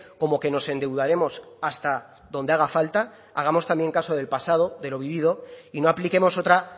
como que nos endeudaremos hasta donde haga falta hagamos también caso del pasado de lo vivido y no apliquemos otra